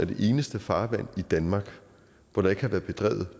det eneste farvand i danmark hvor der ikke har været bedrevet